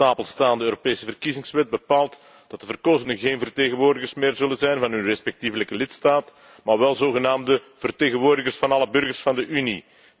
De op stapel staande Europese verkiezingswet bepaalt dat de verkozenen geen vertegenwoordigers meer zullen zijn van hun respectievelijke lidstaat, maar wel zogenaamde vertegenwoordigers van alle burgers van de Unie.